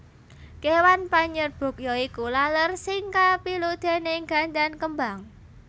Kéwan panyerbuk ya iku laler sing kapilut déning gandan kembang